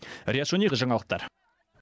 риат шони жаңалықтар